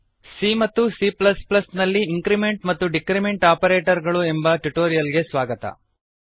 C ಮತ್ತು C plus plus ಸಿಎ ನಲ್ಲಿ ಇಂಕ್ರಿಮೆಂಟ್ ಮತ್ತು ಡಿಕ್ರಿಮೆಂಟ್ ಆಪರೇಟರ್ ಗಳು ಎಂಬ ಟ್ಯುಟೋರಿಯಲ್ ಗೆ ಸ್ವಾಗತ